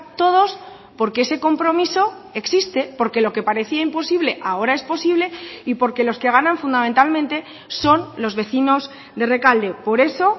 todos porque ese compromiso existe porque lo que parecía imposible ahora es posible y porque los que ganan fundamentalmente son los vecinos de rekalde por eso